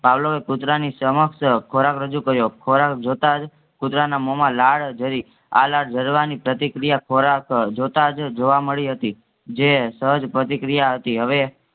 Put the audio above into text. પાવલોએ કૂતરાની સમક્ષ અ ખોરખ રજૂ કર્યો ખોરખ જોતાંજ કૂતરાના મોહમાં લાળ ઝરી, આલાળ ઝરવાની પ્રતિક્રિયા ખોરખ અ જોતાંજ જોવા મળી હતી જે સહજ પ્રતિક્રિયા હતી. હવે